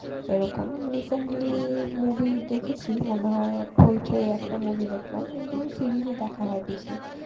এরকম recently movie দেখেছি মনে হয় হইচই এ একটা movie দেখলাম কিন্তু series ই দেখা হয় বেশি.